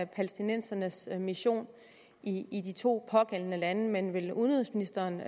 palæstinensernes mission i i de to pågældende lande men vil udenrigsministeren